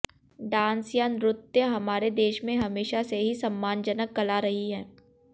dance या नृत्य हमारे देश में हमेशा से ही सम्मानजनक कला रही है